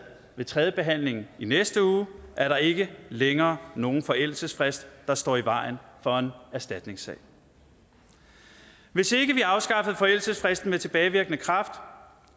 ved tredjebehandlingen i næste uge er der ikke længere nogen forældelsesfrist der står i vejen for en erstatningssag hvis ikke vi afskaffede forældelsesfristen med tilbagevirkende kraft